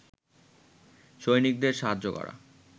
সৈনিকদের সাহায্য করা